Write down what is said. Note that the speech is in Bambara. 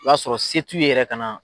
I b'a sɔrɔ se tu ye yɛrɛ ka na.